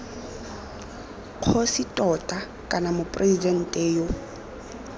kgosi tota kana moporesidente yo